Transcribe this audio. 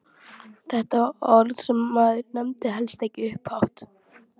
Þetta var orð sem maður nefndi helst ekki upphátt!